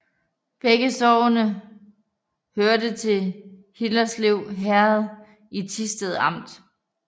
Begge sogne hørte til Hillerslev Herred i Thisted Amt